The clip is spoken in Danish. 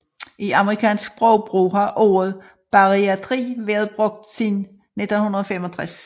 I amerikansk sprogbrug har ordet bariatri været brugt siden 1965